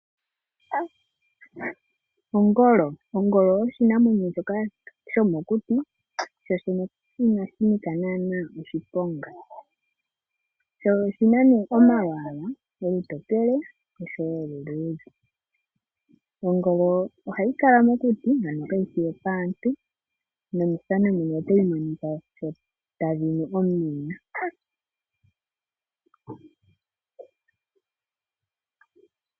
Ongolo Ongolo oshinamwenyo shoka shomokuti, shoshene inashi nika naana oshiponga. Sho oshi na nee omalwaala, olutokele osho wo oluluudhe. Ongolo ohayi kala mokuti ano kayi shi yopaantu, nomethano muno otayi monika sho tadhi nu omeya.